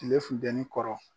Kile futɛni kɔrɔ.